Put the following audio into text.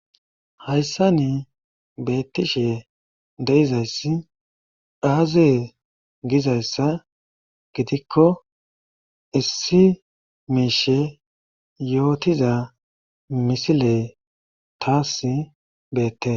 Hayssani beetishe de'izayssi aaze gizayssa gidikko issi mishshe yootiza misile taasi beetees.